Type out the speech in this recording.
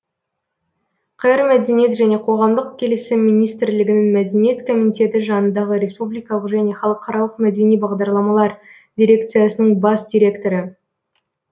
қр мәдениет және қоғамдық келісім министрлігінің мәдениет комитеті жанындағы республикалық және халықаралық мәдени бағдарламалар дирекциясының бас директоры